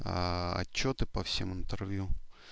отчёты по всем интервью